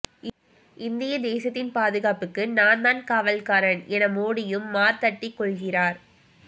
இந்திய தேசத்தின் பாதுகாப்புக்கு நான் தான் காவல்காரன் என மோடியும் மார்த்தட்டிக் கொள்கிறார்